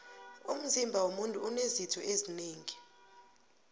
umzima womuntu unezitho zinengi